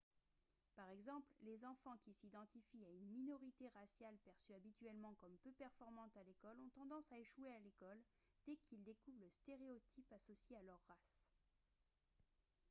par exemple les enfants qui s'identifient à une minorité raciale perçue habituellement comme peu performante à l'école ont tendance à échouer à l'école dès qu'ils découvrent le stéréotype associé à leur race